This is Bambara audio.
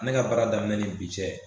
Ne ga baara daminɛ ni bi cɛ